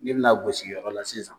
Ni bina gosiyɔrɔ la sisan